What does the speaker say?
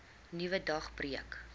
nuwe dag breek